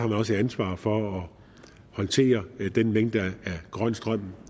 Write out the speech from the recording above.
man også et ansvar for at håndtere den mængde af grøn strøm